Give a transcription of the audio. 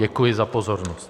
Děkuji za pozornost.